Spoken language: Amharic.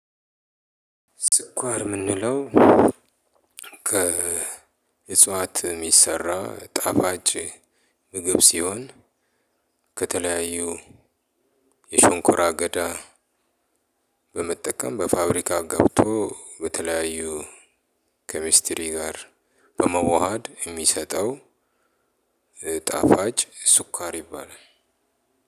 ስኳር ምንለው ከ እጽዋት ሚሰራ ጣፋጭ ምግብ ሲሆን ከተለያዩ የሸንኮራ አገዳ በመጠቀም በፋብሪካ ገብቶ በተለያዩ ኬሚስትሪ ጋር በመዋሃድ የሚሰጠው። ጣፋጭ ስኳር ይባላል።